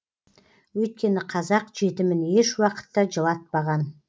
өйткені қазақ жетімін ешуақытта жылатпаған